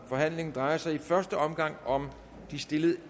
forhandlingen drejer sig i første omgang om de stillede